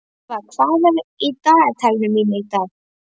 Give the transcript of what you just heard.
Ýlfa, hvað er í dagatalinu mínu í dag?